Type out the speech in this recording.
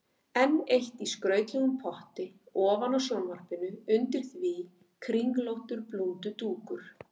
Enn eitt í skrautlegum potti ofan á sjónvarpinu, undir því kringlóttur blúndudúkur.